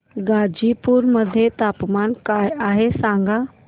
गाझीपुर मध्ये तापमान काय आहे सांगा